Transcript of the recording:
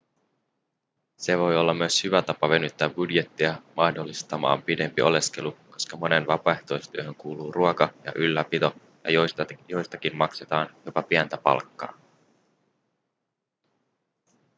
se voi olla myös hyvä tapa venyttää budjettia mahdollistamaan pidempi oleskelu koska moneen vapaaehtoistyöhön kuuluu ruoka ja ylläpito ja joistakin maksetaan jopa pientä palkkaa